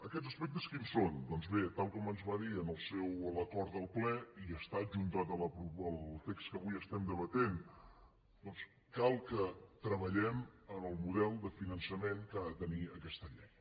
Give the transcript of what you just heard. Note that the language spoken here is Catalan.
aquests aspectes quins són doncs bé tal com ens va dir en l’acord del ple i està adjuntat al text que avui estem debatent cal que treballem en el model de finançament que ha de tenir aquesta llei